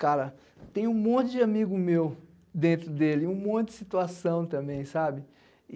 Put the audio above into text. Cara, tem um monte de amigo meu dentro dele, um monte de situação também, sabe?